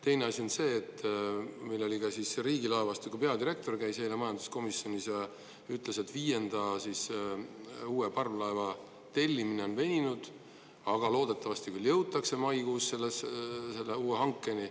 Teine asi on see, et meil riigilaevastiku peadirektor käis eile majanduskomisjonis ja ütles, et viienda, uue parvlaeva tellimine on veninud, aga loodetavasti veel jõutakse maikuus selle uue hankeni.